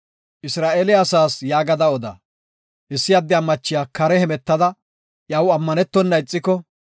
“Isra7eele asaas yaagada oda; issi addiya machiya kare hemetada iyaw ammanetona ixiko,